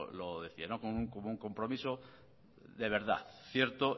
lo decía como un compromiso de verdad cierto